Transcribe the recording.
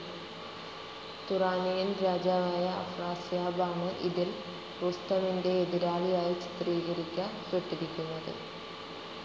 Turanian രാജാവായ Afrasiab ആണ് ഇതിൽ റുസ്തമിന്റെ എതിരാളിയായി ചിത്രീകരിക്കപ്പെട്ടിരിക്കുന്നത്.